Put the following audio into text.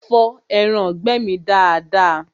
Fọ ẹraǹgbẹ́ mi dada!